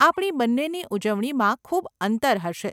આપણી બંનેની ઉજવણીમાં ખૂબ અંતર હશે.